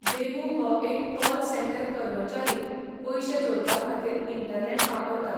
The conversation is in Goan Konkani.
देबू हो एक कॉल सँटर कर्मचारी पयशे जोडपाखातीर इंटरनॅट वापरता.